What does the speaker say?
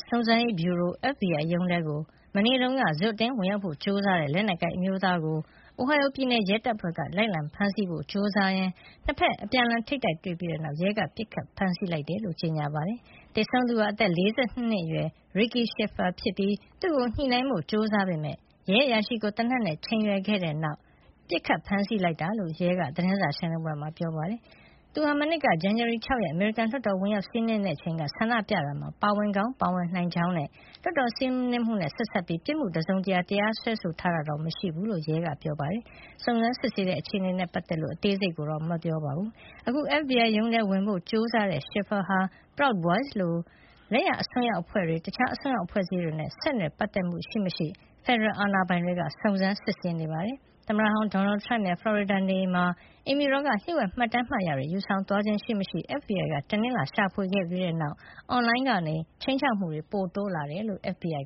စုံစမ်းရေးဗျူရိုရုံးထဲကို မနေ့တုန်းက ဇွတ်အတင်းဝင်ရောက်ဖို့ ကြိုးစားတဲ့ လက်နက်ကိုင်အမျိုးသားကို Ohio ပြည်နယ် ရဲတပ်ဖွဲ့က လိုက်လံဖမ်းဆီးဖို့ ကြိုးစားရင်း နှစ်ဘက် အပြန်အလှန်ထိပ်တိုက်တွေ့ပြီးတဲ့နောက် ရဲက ပစ်ခတ်ဖမ်းဆီးလိုက်ကြောင်း ကြေညာပါတယ်။ သေဆုံးသူဟာ အသက် ၄၂ နှစ်အရွယ် Ricky Shiffer ဖြစ်ပြီး သူ့ကို ညှိနှိုင်းဖို့ ကြိုးစားခဲ့ပေမယ့် ရဲအရာရှိကို သေနတ်နဲ့ ချိန်ရွယ်ခဲ့တဲ့နောက် ပစ်ခတ်ဖမ်းဆီးလိုက် တာလို့လည်း ရဲက သတင်းစာရှင်းလင်းပွဲမှာ ပြောပါတယ်။ သူဟာ မနှစ်က ဇန်နဝါရီလ ၆ ရက်၊ အမေရိကန်လွှတ်တော်ကို ဝင်ရောက်စီးနင်းခဲ့တဲ့အချိန် ဆန္ဒပြတာမှာ ပါဝင်ကောင်း ပါဝင်နိုင်ကြောင်းနဲ့ လွှတ်တော်စီးနင်းမှုနဲ့ ဆက်စပ်ပြီး ပြစ်မှုတစုံတရာနဲ့ တရားစွဲဆိုထားတာတော့ မရှိတဲ့အကြောင်း ရဲတပ်ဖွဲ့က ပြောပါတယ်။ စုံစမ်းစစ်ဆေးနေတဲ့ အခြေအနေတွေနဲ့ ပတ်သက်လို့ ရဲအရာရှိတွေက အသေးစိတ် ပြောဆိုတာမျိုးတော့ မရှိပါဘူး။ အခု FBI ရုံးကို ဝင်ရောက်ဖို့ ကြိုးစားခဲ့တဲ့ Shiffer ဟာ Proud Boys လို လက်ယာအစွန်းရောက်အဖွဲ့တွေ၊ တခြား အစွန်းရောက်အဖွဲ့အစည်းတွေနဲ့ ဆက်နွယ်ပတ် သက်မှု ရှိမရှိ ဖက်ဒရယ်အာဏာပိုင်တွေက စုံစမ်းစစ်ဆေးနေပါတယ်။ သမ္မတဟောင်း Donald Trump ရဲ့ ဖလော်ရီဒါ နေအိမ်မှာ အိမ်ဖြူတော်က လျှို့ဝှက် မှတ်တမ်းမှတ်တရာတွေ ယူဆောင်သွားခြင်း ရှိမရှိ FBI က တနင်္လာနေ့က ရှာဖွေခဲ့ပြီးတဲ့နောက် အွန်လိုင်းကနေ ခြိမ်းခြောက်မှုတွေ ပိုရှိလာတယ်လို့ FBI